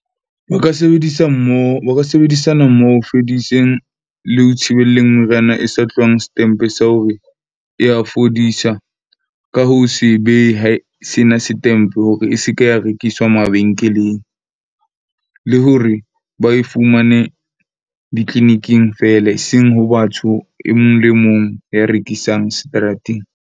O ka sebedisa mmoho. O ka sebedisana mmoho ho fediseng le ho thibelleng meriana e sa tlohang setempe sa hore ya fodisa ka ho se behe sena setempe hore e se ke ya rekiswa mabenkeleng. Le hore ba e fumane di-clinic-ing fela. Eseng ho batho e mong le mong ya rekisang seterateng.